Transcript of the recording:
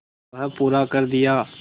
वह पूरा कर दिया